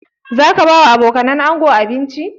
Za ka ba wa abokanan ango abinci?